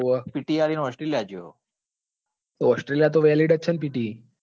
આપી ને australia ગયો. australia તો valid જ છે ને pte